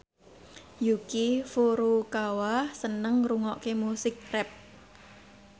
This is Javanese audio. Yuki Furukawa seneng ngrungokne musik rap